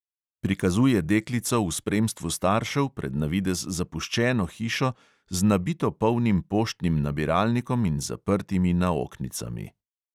Prikazuje deklico v spremstvu staršev pred na videz zapuščeno hišo z nabito polnim poštnim nabiralnikom in zaprtimi naoknicami.